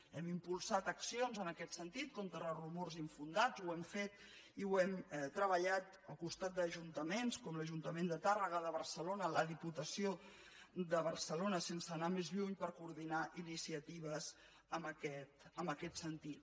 hem impulsat accions en aquest sentit contra rumors infundats ho hem fet i ho hem treballat al costat d’ajuntaments com l’ajuntament de tàrrega de barcelona la diputació de barcelona sense anar més lluny per coordinar iniciatives en aquest sentit